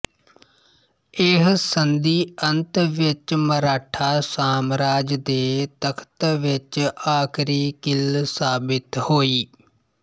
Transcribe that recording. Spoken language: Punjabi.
ਇਹ ਸੰਧੀ ਅੰਤ ਵਿੱਚ ਮਰਾਠਾ ਸਾਮਰਾਜ ਦੇ ਤਖ਼ਤ ਵਿੱਚ ਆਖਰੀ ਕਿੱਲ ਸਾਬਿਤ ਹੋਈ